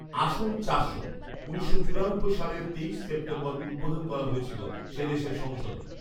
আসন চারশো উনিশশো চুরানব্বই সালের তেইশ সেপ্টেম্বর উদ্বোধন করা হয়েছিল সে দেশের সংসদের৷